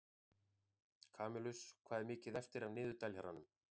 Kamilus, hvað er mikið eftir af niðurteljaranum?